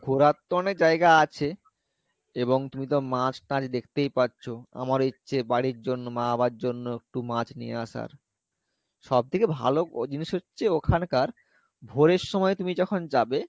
ঘোরার তো অনেক জায়গা আছে এবং তুমি তো মাছ টাছ দেখতেই পাচ্ছো আমারও ইচ্ছে বাড়ির জন্য মা বাবার জন্য একটু মাছ নিয়ে আসার সব থেকে ভালো জিনিস হচ্ছে ওখানকার ভোরের সময় তুমি যখন যাবে,